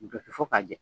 Jɔsi fo k'a jɛ